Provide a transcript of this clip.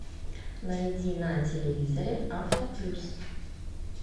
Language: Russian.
найди на телевизоре авто плюс